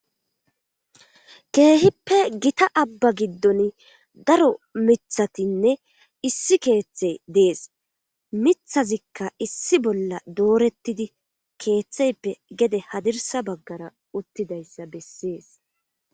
Keehippe gita abba giddon daro mithatinne issi keeththey dees mithazikka issi bolla doorettidi keeththeyppe gede hadirsa baggara uttidayssa bessees.